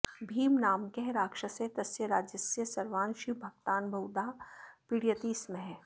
भीमनामकः राक्षसः तस्य राज्यस्य सर्वान् शिवभक्तान् बहुधा पीडयति स्म